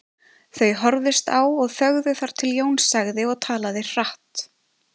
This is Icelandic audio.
Þau horfðust á og þögðu þar til Jón sagði og talaði hratt